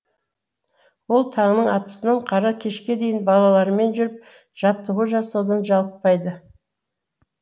ол таңның атысынан қара кешке дейін балалармен жүріп жаттығу жасаудан жалықпайды